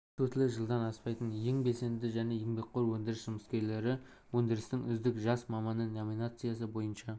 жұмыс өтілі жылдан аспайтын ең белсенді және еңбекқор өндіріс жұмыскерлері өндірістің үздік жас маманы номинациясы бойынша